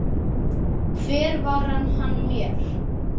Hver var hann mér?